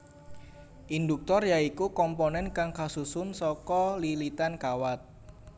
Induktor ya iku komponen kang kasusun saka lilitan kawat